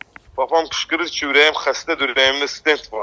Papam qışqırır ki, ürəyim xəstədir, ürəyimdə stent var.